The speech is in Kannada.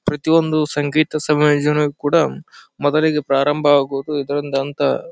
ಪ್ರತಿ ಒಂದು ಸಂಗೀತ ಸಮೇಳನದಲ್ಲಿ ಕೂಡ ಮದುವೆಗೆ ಪ್ರಾರಂಭ ಆಗುವುದು ಇದರಿಂದ ಅಂತ --